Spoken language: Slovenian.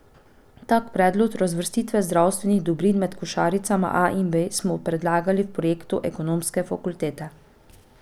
Tak predlog razvrstitve zdravstvenih dobrin med košaricama A in B smo predlagali v projektu ekonomske fakultete.